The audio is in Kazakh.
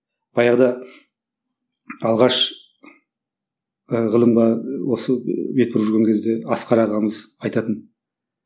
баяғыда алғаш і ғылымға осы бет бұрып жүрген кезде асқар ағамыз айтатын